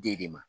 Den de ma